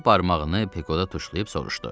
O barmağını peqda tuşlayıb soruşdu.